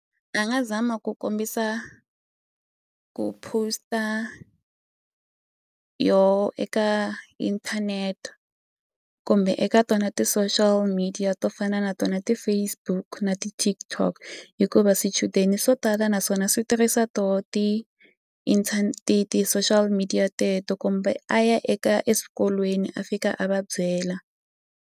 A nga zama ku kombisa ku post-a yoho eka inthanete kumbe eka tona ti-social media to fana na tona ti-Facebook na ti-TikTok hikuva swichudeni swo tala naswona swi tirhisa to ti ti ti-social media teto kumbe a ya eka eswikolweni a fika a va byela.